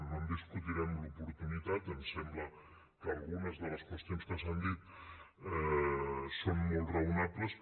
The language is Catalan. no en discutirem l’oportunitat ens sembla que algunes de les qüestions que s’han dit són molt raonables